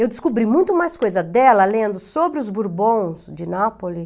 Eu descobri muito mais coisa dela lendo sobre os Bourbons de Nápoli,